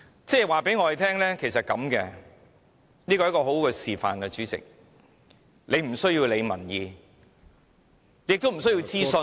主席，這是很好的示範，就是不需要理會民意，也不需要諮詢......